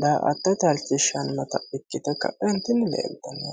daa''attote halchishshannata ikkite ka'entinni leeltanno.